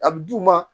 A bɛ d'u ma